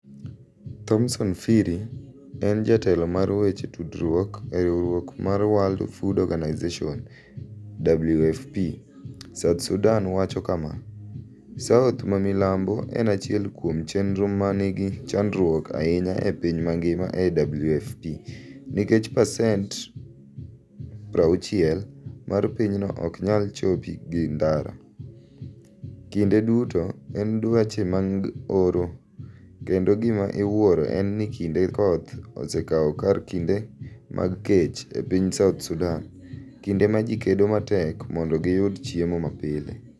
Thomson Phiri en jatelo mar weche tudruok e riwruok mar World Food Organization, WFP, South Sudan wacho kama: "South mamilambo en achiel kuom chenro ma nigi chandruok ahinya e piny mangima ne WFP, nikech pasent 60 mar pinyno ok nyal chopi gi ndara, kinde duto en dweche mag oro, kendo gima iwuoro en ni kinde koth osekawo kar kinde mag kech e piny South Sudan, kinde ma ji kedo matek mondo giyud chiemo mapile.